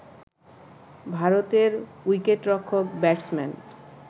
ভারতের উইকেটরক্ষক ব্যাটসম্যান